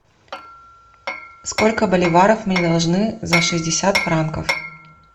сколько боливаров мне должны за шестьдесят франков